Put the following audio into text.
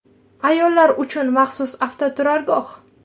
Ayollar uchun maxsus avtoturargoh.